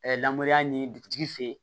lamɔ ni dugutigi fɛ yen